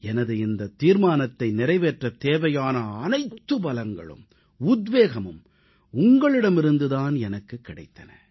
எனது இந்தத் தீர்மானத்தை நிறைவேற்றத் தேவையான அனைத்து பலங்களும் உத்வேகமும் உங்களிடமிருந்து தான் எனக்குக் கிடைத்தன